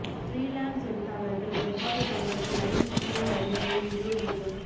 freelance எழுத்தாளர்கள் எவ்வாறு தங்கள் கிளையண்ட் ஸ்கிரீன் கருவியை நிறுவ முடியும்